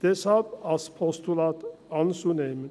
Deshalb ist es als Postulat anzunehmen.